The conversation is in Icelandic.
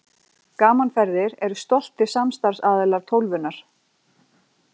Gaman Ferðir eru stoltir samstarfsaðilar Tólfunnar.